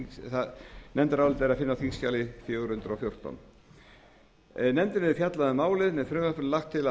nefndarálitið er að finna á þingskjali fjögur hundruð og fjórtán nefndin hefur fjallað um málið með frumvarpinu er lagt til að